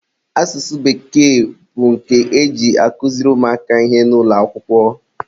asụsụ bekee bụ nke e ji akụziri ụmụaka ihe n'ụlọakwụkwọ